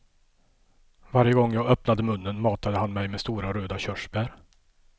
Varje gång jag öppnade munnen matade han mig med stora röda körsbär.